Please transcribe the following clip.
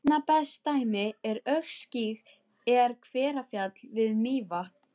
Einna best dæmi um öskugíg er Hverfjall við Mývatn.